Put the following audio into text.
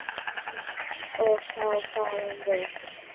og þá fáum við